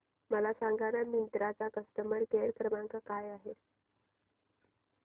मला सांगाना मिंत्रा चा कस्टमर केअर क्रमांक काय आहे